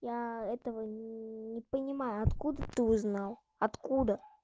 я этого не понимаю откуда ты узнал откуда